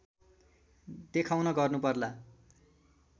देखाउन गर्नु पर्ला